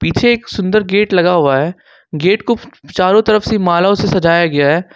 पीछे एक सुंदर गेट लगा हुआ है गेट को चारों तरफ से मालाओं से सजाया गया है।